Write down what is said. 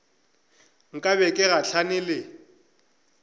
nka be ke gahlane le